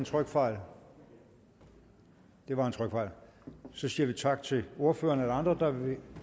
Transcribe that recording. trykfejl det var en trykfejl så siger vi tak til ordføreren er der andre der vil